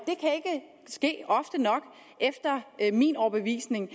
ske ofte nok efter min overbevisning